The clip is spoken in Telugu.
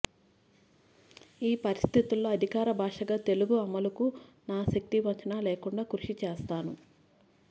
ఈ పరిస్థితుల్లో అధికార భాషగా తెలుగు అమలుకు నా శక్తివంచన లేకుండా కృషి చేస్తాను